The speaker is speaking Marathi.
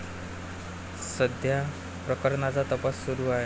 सध्या प्रकरणाचा तपास सुरू आहे.